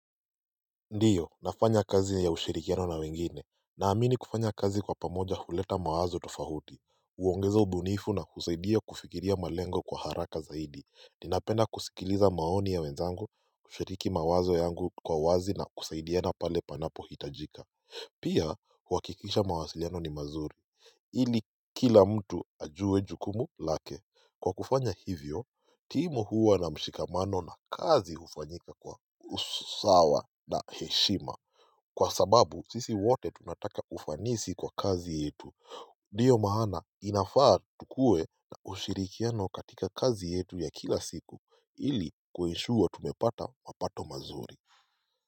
Ndiyo nafanya kazi ya ushirikiano na wengine naamini kufanya kazi kwa pamoja huleta mawazo tofauti huongeza ubunifu na kusaidia kufikiria malengo kwa haraka zaidi ninapenda kusikiliza maoni ya wenzangu kushiriki mawazo yangu kwa wazi na kusaidiana pale panapo hitajika pia huwakikisha mawasiliano ni mazuri ili kila mtu ajue jukumu lake kwa kufanya hivyo timu huwa na mshikamano na kazi hufanyika kwa usawa na heshima Kwa sababu sisi wote tunataka ufanisi kwa kazi yetu Ndiyo maana inafaa tukue na ushirikiano katika kazi yetu ya kila siku ili kwenishuwa tumepata mapato mazuri.